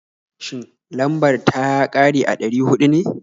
Shin, lambar ta ya ƙare a ɗari huɗu ne?